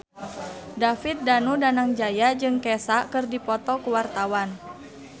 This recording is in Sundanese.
David Danu Danangjaya jeung Kesha keur dipoto ku wartawan